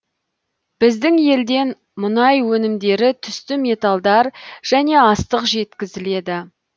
біздің елден мұнай өнімдері түсті металдар және астық жеткізіледі